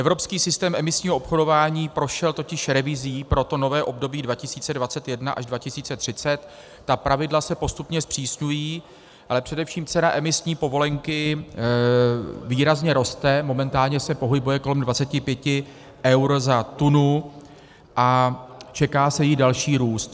Evropský systém emisního obchodování prošel totiž revizí pro to nové období 2021 až 2030, ta pravidla se postupně zpřísňují, ale především cena emisní povolenky výrazně roste, momentálně se pohybuje kolem 25 eur za tunu a čeká se její další růst.